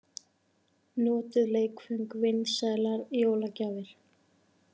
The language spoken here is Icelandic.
Notuð leikföng vinsælar jólagjafir